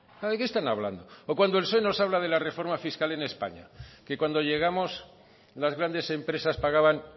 de qué están hablando o cuando el psoe nos habla de la reforma fiscal en españa que cuando llegamos las grandes empresas pagaban